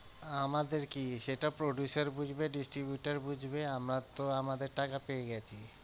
আমাদের কি সেটা producer বুঝবে distributor বুঝবে আমরা তো আমাদের টাকা পেয়ে গেছি।